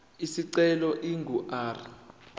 isicelo ingu r